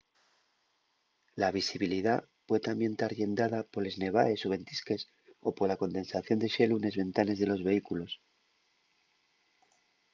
la visibilidá pue tamién tar llendada poles nevaes o ventisques o pola condensación de xelu nes ventanes de los vehículos